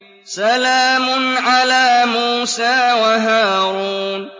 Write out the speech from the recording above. سَلَامٌ عَلَىٰ مُوسَىٰ وَهَارُونَ